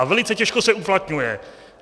A velice těžko se uplatňuje.